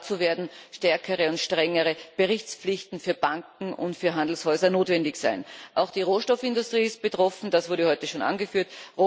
Dazu werden stärkere und strengere Berichtspflichten für Banken und für Handelshäuser notwendig sein. Auch die Rohstoffindustrie ist betroffen, das wurde heute schon angeführt.